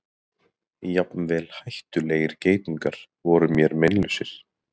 Jafnvel hættulegir geitungar voru mér meinlausir.